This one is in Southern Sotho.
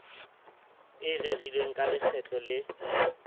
e rerilweng ka lekgetlo le